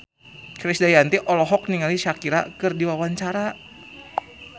Krisdayanti olohok ningali Shakira keur diwawancara